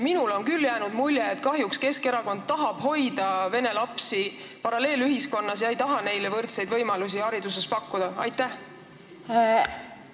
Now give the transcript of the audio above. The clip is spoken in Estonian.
Minule on küll jäänud mulje, et kahjuks tahab Keskerakond hoida vene lapsi paralleelühiskonnas ega taha neile hariduses pakkuda võrdseid võimalusi.